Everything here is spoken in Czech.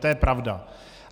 To je pravda.